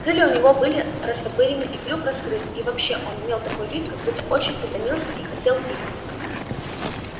крылья у него были растопырены и клюв раскрыт и вообще он имел такой вид как будто очень утомился и хотел пить